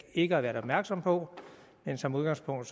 ikke har været opmærksomme på men som udgangspunkt